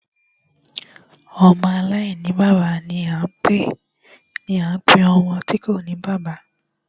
Ọmọ aláìní bàbá ni a ń pe ọmọ tí kòní bàbá.